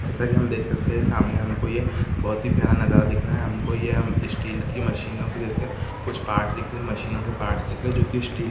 जैसा कि हम देख सकते है सामने हमको ये बहोत ही प्यारा नजारा दिख रहा है हमको ये अम स्टील की मशीनों की जेसे कुछ पार्ट्स दिख रहै है मशीनों के पार्ट्स दिख रहे है जो की स्टील --